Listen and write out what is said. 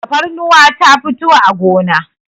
tafarnuwa ta fito a gona